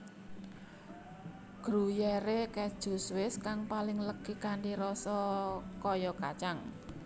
Gruyère Keju Swiss kang paling legi kanthi rasa kaya kacang